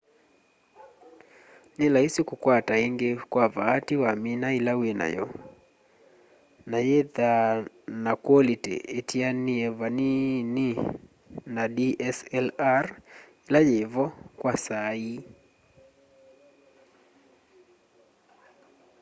nĩ laisi kũkwata ĩngĩ kwa vaatĩ wamĩna ĩla wĩ nayo na yĩthaa na kwolĩtĩ ĩtĩanĩe vanini na dslr ĩla yĩ vo kwa saa ii